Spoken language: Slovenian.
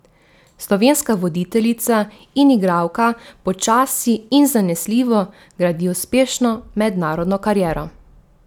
Slovenska voditeljica in igralka počasi in zanesljivo gradi uspešno mednarodno kariero.